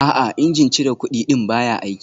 A'a, injin cire kudi ɗin baya aiki